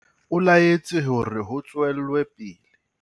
O laetse hore ho tswelwe pele.